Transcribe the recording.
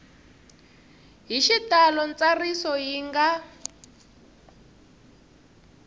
hi xitalo ntsariso yi nga